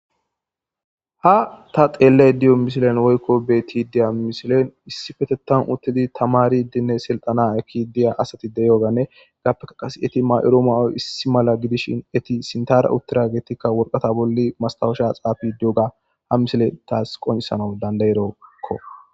Ha telayida diyo missilen bettidi diyo missilen issippetetan uttidi tamariddine siltana ekkidi diya asato diyyoganne yappekka qase eti mayiddo may'oyi issi malla giddishshin eti sintara uttidaggeti worqqata bolla mastawosha xaffidi diyogga ha misdileyi tasi qonccisana dandaeskko.